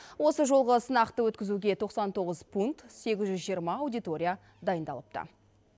осы жолғы сынақты өткізуге тоқсан тоғыз пункт сегіз жүз жиырма аудитория дайындалыпты